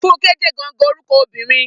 Funke jẹ gangan orukọ obinrin.